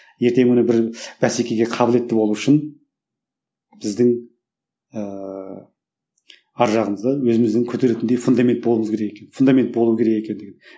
ертеңгі күні бір бәсекеге қабілетті болу үшін біздің ыыы арғы жағымызда өзіміздің көтеретіндей фундамент болуымыз керек екен фундамент болу керек екен деген